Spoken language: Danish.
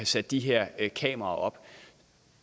sat de her kameraer op